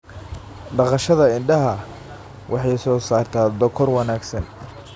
Dhaqashada idaha waxay soo saartaa dhogor wanaagsan.